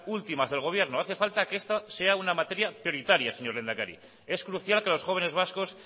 últimas del gobierno hace falta que esto sea una materia prioritaria señor lehendakari es crucial que los jóvenes vascos